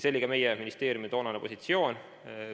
See oli ka meie ministeeriumi toonane positsioon.